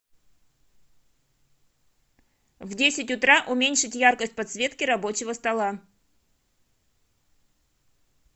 в десять утра уменьшить яркость подсветки рабочего стола